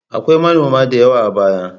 Akwai manoma da yawa a baya.